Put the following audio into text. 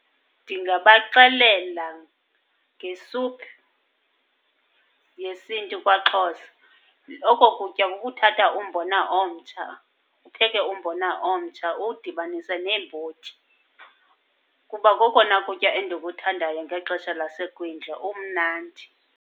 Ndingabaxelela ngesuphu yesiNtu kwaXhosa. Oko kutya kukuthatha umbona omtsha, upheke umbona omtsha uwudibanise neembotyi. Kuba kokona kutya endikuthandayo ngexesha lasekwindla, umnandi.